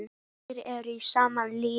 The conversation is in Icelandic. Allir eru í sama liði.